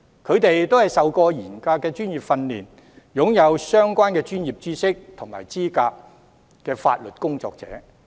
他們都接受過嚴格的專業訓練，是擁有相關專業知識和資格的法律工作者。